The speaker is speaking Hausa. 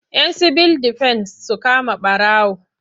Yan sibil defen su kama ɓarawo.